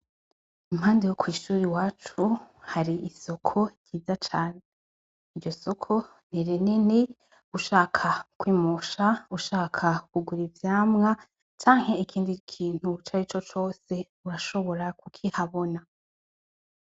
Impande yokwishure iwacu hari isoko ryiza Cane ,iryo soko ni rinini ushaka kwimosha ,ushaka kugura ivyamwa, canke ikindi kintu carico cose urashobora kukihabona.